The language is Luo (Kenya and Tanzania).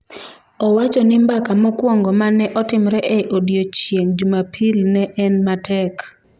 Owacho ni mbaka mokwongo ma ne otimre e odiechieng' Jumapil ne en ''matek''.